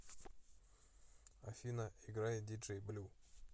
афина играй диджей блю